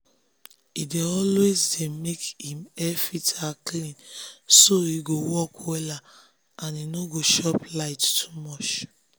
he dey always make him air-filter clean so e go work wella and e no go chop light too much.